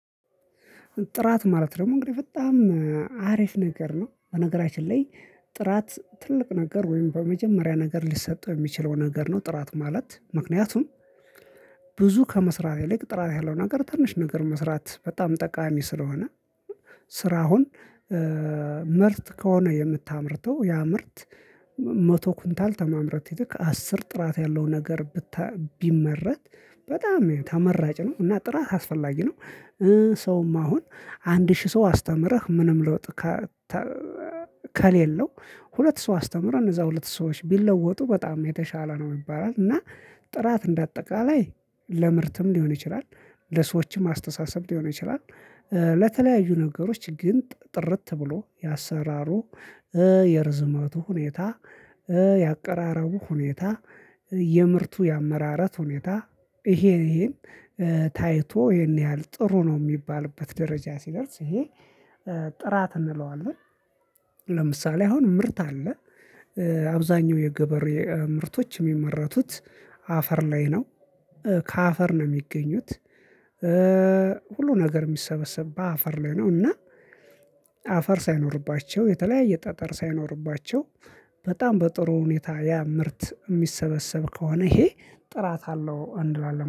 ጥራት ማለት ደግሞ እንግዲህ በጣም አሪፍ ነገር ነው። በነገራችን ላይ ጥራት ትልቅ ነገር ወይም በመጀመሪያ ነገር ሊሰጠው የሚችለው ነገር ነው ጥራት ማለት ምክንያቱም ብዙ ከመስራት ይልቅ ጥራት ያለው ነገር ትንሽ ነገር መስራት በጣም ጠቃሚ ስለሆነ ስራውን ምርጥ ከሆነ የምታምርተው ያ ምርት መቶ ኩንታል ተማምረት ይልቅ አስር ጥራት ያለው ነገር ብታ ቢመረት በጣም ተመራጭ ነው እና ጥራት አስፈላጊ ነው። ሰውም አሁን አንድ ሺህ ሰው አስተምረህ ምንም ለውጥ ከሌለው ሁለት ሰው አስተምረህ እነዛ ሁለት ሰዎች ቢለወጡ በጣም የተሻለ ነው ይባላል እና ጥራት እንደ አጠቃላይ ለምርትም ሊሆን ይችላል ለሰዎችም አስተሳሰብ ሊሆን ይችላል ለተለያዩ ነገሮች ግን ጥርት ብሎ የአሰራሩ የርዝመቱ ሁኔታ የአቀራረቡ ሁኔታ የምርቱ የአመራረት ሁኔታ ይሄን ይሄን ታይቶ ይሄን ያህል ጥሩ ነው የሚባልበት ደረጃ ሲደርስ ይሄ ጥራት እንለዋለን ለምሳሌ አሁን ምርት አለ አብዛኛው የገበሬ ምርቶች የሚመረቱት አፈር ላይ ነው። ከአፈር ነው ሚገኙት ሁሉ ነገር የሚሰበሰብ በአፈር ላይ ነው እና አፈር ሳይኖርባቸው የተለያየ ጠጠር ሳይኖርባቸው በጣም በጥሩ ሁኔታ ያ ምርት የሚሰበሰብ ከሆነ ይሄ ጥራት አለው እንላለን